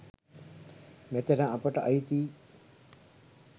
මෙතන අපට අයිතියි